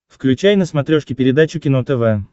включай на смотрешке передачу кино тв